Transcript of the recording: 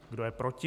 Kdo je proti?